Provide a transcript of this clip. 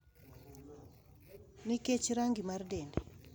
Nikech rangi mar dende